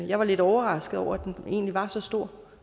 jeg var lidt overrasket over at den egentlig var så stor